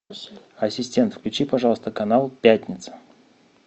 ассистент включи пожалуйста канал пятница